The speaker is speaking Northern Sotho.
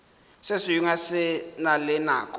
sengwe se na le nako